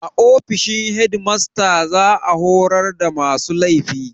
A ofishin shedimasta za a horar da masu laifi